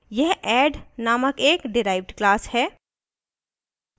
यह add named एक derived class है